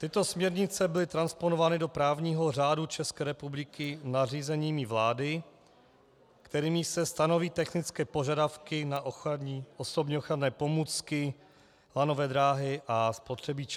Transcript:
Tyto směrnice byly transponovány do právního řádu České republiky nařízeními vlády, kterými se stanoví technické požadavky na osobní ochranné pomůcky, lanové dráhy a spotřebiče.